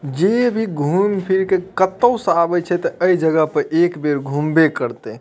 जे भी घूम फिर के कतो से जे आवे छै ते ए जगह पर एक बेर घूम बे करते।